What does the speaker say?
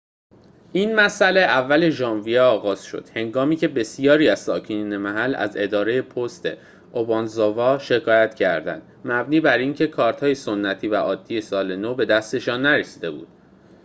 این مسئله اول ژانویه آغاز شد هنگامی که بسیاری از ساکنین محل از اداره پست اوبانزاوا شکایت کردند مبنی بر اینکه کارت‌های سنتی و عادی سال نو به دستشان نرسیده بود